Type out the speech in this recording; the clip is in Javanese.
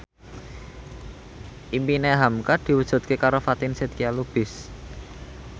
impine hamka diwujudke karo Fatin Shidqia Lubis